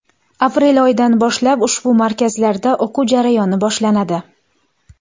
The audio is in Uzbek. Aprel oyidan boshlab ushbu markazlarda o‘quv jarayoni boshlanadi.